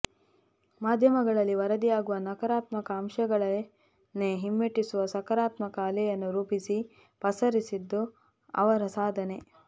ಮಾಧ್ಯಮಗಳಲ್ಲಿ ವರದಿ ಆಗುವ ನಕಾರಾತ್ಮಕ ಅಂಶಗಳನ್ನೇ ಹಿಮ್ಮೆಟ್ಟಿಸುವ ಸಕಾರಾತ್ಮಕ ಅಲೆಯನ್ನು ರೂಪಿಸಿ ಪಸರಿಸಿದ್ದು ಅವರ ಸಾಧನೆ